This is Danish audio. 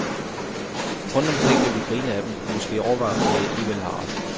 Rundt omkring vil vi grine af dem og måske overveje, om de alligevel har ret.